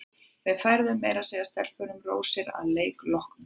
Við færðum meira að segja stelpunum rósir að leik loknum.